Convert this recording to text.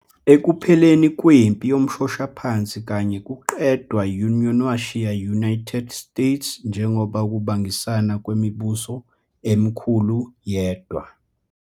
Ekupheleni kweMpi Yomshoshaphansi kanye kuqedwa Union washiya United States njengoba ukubangisana kwemibuso emikhulu yedwa.